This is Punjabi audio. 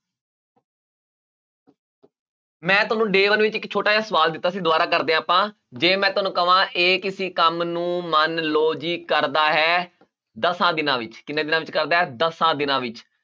ਮੈਂ ਤੁਹਾਨੂੰ day one ਵਿੱਚ ਇੱਕ ਛੋਟਾ ਜਿਹਾ ਸਵਾਲ ਦਿੱਤਾ ਸੀ ਦੁਬਾਰਾ ਕਰਦੇ ਹਾਂ ਆਪਾਂ, ਜੇ ਮੈਂ ਤੁਹਾਨੂੰ ਕਵਾਂ a ਕਿਸੇ ਕੰਮ ਨੂੰ ਮੰਨ ਲਓ ਜੀ ਕਰਦਾ ਹੈ ਦਸਾਂ ਦਿਨਾਂ ਵਿੱਚ ਕਿੰਨੇ ਦਿਨਾਂ ਵਿੱਚ ਕਰਦਾ ਹੈ ਦਸਾਂ ਦਿਨਾਂ ਵਿੱਚ।